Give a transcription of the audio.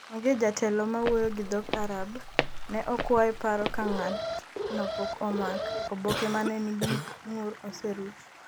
onge jatelo ma wuoyo gi dhok Arab ,ne okwaye paro ka ng'at no pok omak. Oboke ma ne nigi ng'ur oseruch